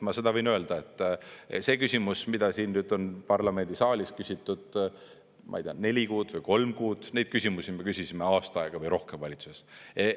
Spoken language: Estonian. Ma seda võin öelda, et see küsimus, mida siin on nüüd parlamendisaalis küsitud, ma ei tea, neli kuud või kolm kuud, neid küsimusi me küsisime aasta aega või rohkem valitsuses.